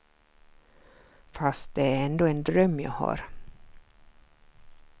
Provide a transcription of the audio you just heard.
Fast det är ändå en dröm jag har.